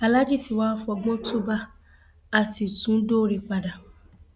aláàjì tí wàá fọgbọn túúbá á ti tún dọrẹ padà